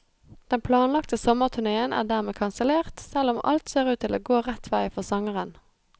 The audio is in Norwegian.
Den planlagte sommerturnéen er dermed kansellert, selv om alt ser ut til å gå rett vei for sangeren.